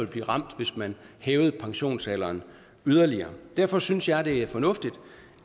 blive ramt hvis man hævede pensionsalderen yderligere derfor synes jeg det er fornuftigt